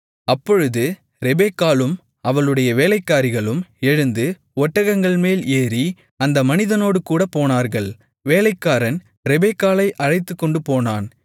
அப்பொழுது ரெபெக்காளும் அவளுடைய வேலைக்காரிகளும் எழுந்து ஒட்டகங்கள்மேல் ஏறி அந்த மனிதனோடுகூடப் போனார்கள் வேலைக்காரன் ரெபெக்காளை அழைத்துக்கொண்டுபோனான்